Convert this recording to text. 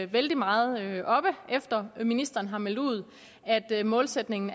vældig meget oppe efter at ministeren har meldt ud at målsætningen